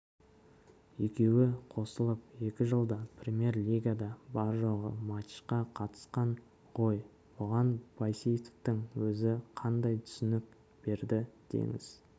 екеуі қосылып екі жылда премьер-лигада бар-жоғы матчқа қатысқан ғой бұған байсейітовтің өзі қандай түсінік берді деңіз